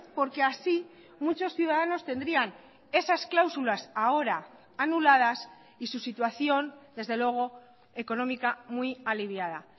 porque así muchos ciudadanos tendrían esas cláusulas ahora anuladas y su situación desde luego económica muy aliviada